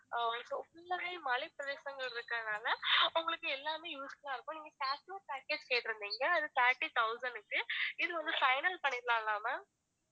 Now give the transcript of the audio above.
அஹ் இப்ப full ஆவே மலைபிரேதேசம் இருக்கறதுனால உங்களுக்கு எல்லாமே useful ஆ இருக்கும் நீங்க package கேட்டுருந்திங்க அது thirty thousand க்கு இது வந்து final பண்ணிடலாம்ல ma'am